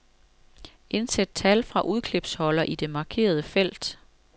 Indsæt tal fra udklipsholder i det markerede felt.